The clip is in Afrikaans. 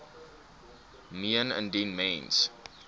meen indien mens